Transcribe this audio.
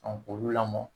k'olu lamɔ